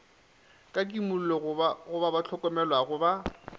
ka kimollo go bahlokomelwa ba